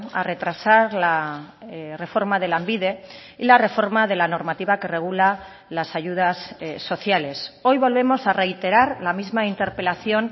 a retrasar la reforma de lanbide y la reforma de la normativa que regula las ayudas sociales hoy volvemos a reiterar la misma interpelación